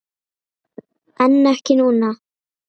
En ekki núna?